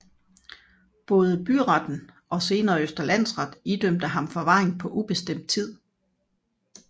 Både byretten og senere Østre Landsret idømte ham forvaring på ubestemt tid